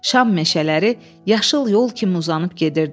Şam meşələri yaşıl yol kimi uzanıb gedirdi.